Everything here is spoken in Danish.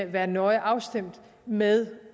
være nøje afstemt med